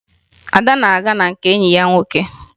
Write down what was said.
Ada na-aga na nke enyi ya nwoke